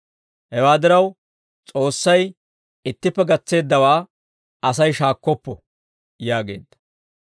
Hewaa diraw, S'oossay ittippe gatseeddawaa Asay shaakkoppo» yaageedda.